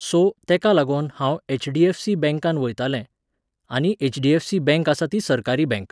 So, तेका लागोन हांव एच.डी.एफ.सी. बँकान वयतलें आनी एच.डी.एफ.सी. बँक आसा ती सरकारी बँक.